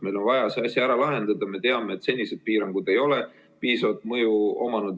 Meil on vaja see asi ära lahendada ja me teame, et senised piirangud ei ole piisavat mõju omanud.